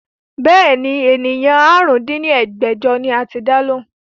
Bẹ́ẹ̀ni, ènìyàn àrún dín ní ẹgbẹ́jọ ni a ti dá lóhùn